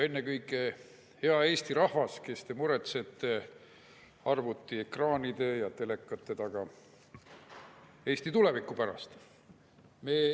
Ennekõike hea Eesti rahvas, kes te muretsete arvutiekraanide ja telekate taga Eesti tuleviku pärast!